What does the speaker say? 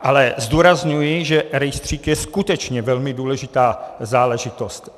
Ale zdůrazňuji, že rejstřík je skutečně velmi důležitá záležitost.